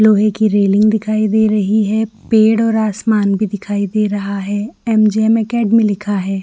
लोहे की रेलिंग दिखाई दे रही है पेड़ और आसमान भी दिखाई दे रहा है एम जे एम एकेडमी लिखा है।